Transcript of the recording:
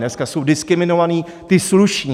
Dneska jsou diskriminovaní ti sluší.